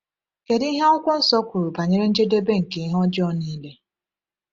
Kedu ihe Akwụkwọ Nsọ kwuru banyere njedebe nke ihe ọjọọ niile?